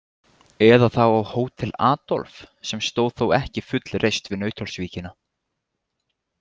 Eða þá á Hótel Adolf, sem stóð þó ekki fullreist við Nauthólsvíkina.